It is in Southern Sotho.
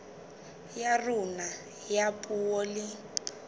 ya rona ya puo le